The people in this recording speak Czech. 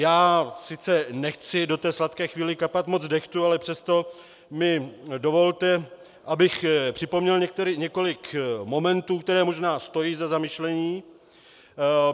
Já sice nechci do té sladké chvíle kapat moc dehtu, ale přesto mi dovolte, abych připomněl několik momentů, které možná stojí za zamyšlení.